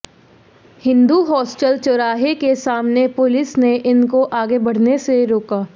Hindu hostel चौराहे के सामने पुलिस ने इनको आगे बढ़ने से रोका